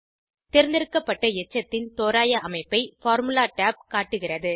தேர்ந்தெடுக்கப்பட்ட எச்சத்தின் தோராய அமைப்பை பார்முலா tab காட்டுகிறது